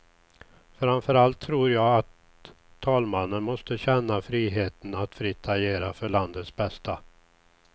Framför allt tror jag att talmannen måste känna friheten att fritt agera för landets bästa.